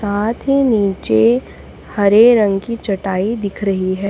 साथ ही नीचे हरे रंग की चटाई दिख रही है।